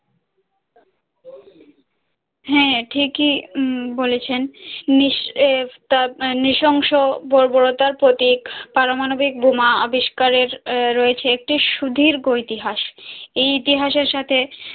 হাঁ ঠিক ই উম বলেছেন নিস এ তাপ নৃশংস বর্বরতার প্রতীক পারমাণবিক বোমা আবিষ্কারের রয়েছে একটি সুদীর্ঘ ইতিহাস এই ইতিহাসের সাথে